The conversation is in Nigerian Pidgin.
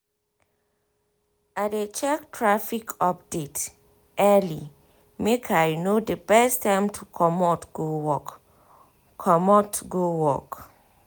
i dey check traffic update early make i know best time to commot go work. commot go work.